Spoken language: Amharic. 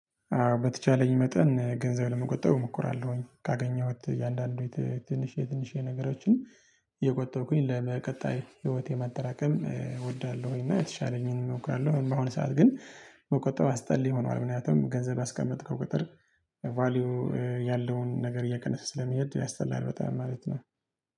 በተቻለኝ መጠን ገንዘብ ለመቆጠብ እሞኮራለሁኝ ካገኘሁት የአንዳንድ ትንሽ የትንሽ የነገራችን። ለቀጣይ ህይወቴ ማጠራቀም እወዳለሁኝ እና የተሻለኝን እሞክራለሁኝ። በአሁን ሰዓት ግን በቆጠሩ አስጠልይ ሆኗል። ምክንያቱም ገንዘብ ያስቀመጥከው ቁጥር ቫልዩ ያለውን ነገር እየቀነሰ ስለሚሄድ ያስጠላል በጣም ማለት ነው።